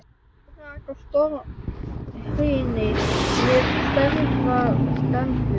Þá rak á stormhrinu með stærðar dembu.